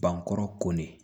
Bankɔrɔ ko de